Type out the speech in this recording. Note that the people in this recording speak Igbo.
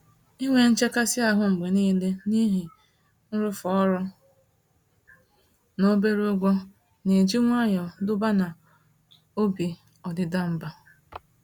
Inwe nchekasị-ahụ mgbe nile n'ihi nrụ̀fe ọrụ n'obere ụgwọ, n'eji nwayọọ duba na obi ọdịda mbà.